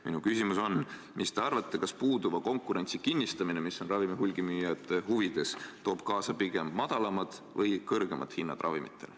Minu küsimus on: mis te arvate, kas puuduva konkurentsi kinnistamine, mis on ravimihulgimüüjate huvides, toob kaasa pigem madalamad või kõrgemad ravimihinnad?